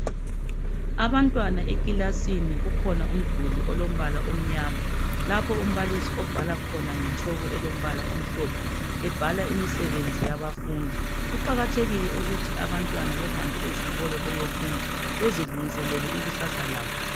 Abantwana ekilasini kukhona umduli olombala omnyama lapho umbalisi obhala khona nge chalk elombala omhlophe ebhala imisebenzi yabafundi kuqakathekile ukuthi abantwana behambe ezikolo beyefunda bezilungiselele ikusasa labo.